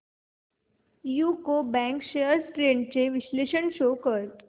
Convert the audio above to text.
UCO bank shares trends चे विश्लेषण show कर